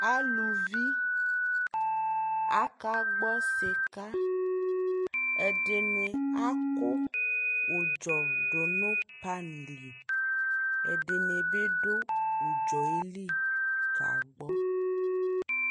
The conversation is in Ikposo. alʋvi aka gbɔ sika, ɛdini akʋ ʋdzɔ dʋnʋ pan li ɛdini bi dʋ ʋdzɔɛli ka gbɔ